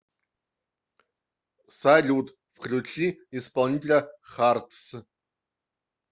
салют включи исполнителя хартс